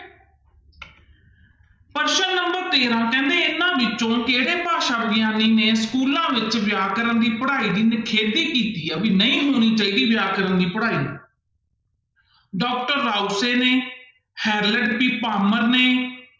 ਪ੍ਰਸ਼ਨ number ਤੇਰਾਂ ਕਹਿੰਦੇ ਇਹਨਾਂ ਵਿੱਚੋਂ ਕਿਹੜੇ ਭਾਸ਼ਾ ਵਿਗਿਆਨੀ ਨੇ ਸਕੂਲਾਂ ਵਿੱਚ ਵਿਆਕਰਨ ਦੀ ਪੜ੍ਹਾਈ ਦੀ ਨਿਖੇਧੀ ਕੀਤੀ ਹੈ, ਵੀ ਨਹੀਂ ਹੋਣੀ ਚਾਹੀਦਾ ਵਿਆਕਰਨ ਦੀ ਪੜ੍ਹਾਈ doctor ਰਾਊਸੇ ਨੇ, ਹੈਡਲਰ ਨੇ